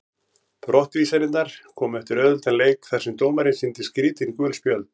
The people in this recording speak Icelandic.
Brottvísanirnar komu eftir auðveldan leik þar sem dómarinn sýndi skrítin gul spjöld.